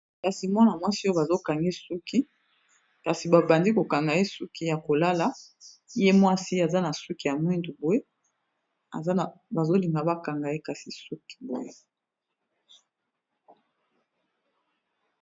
Kasi mwana mwasi oyo bazokanga ye suki kasi babandi kokanga, ye suki ya kolala ye mwasi aza na suki ya mwindu boye bazolinga bakanga ye suki .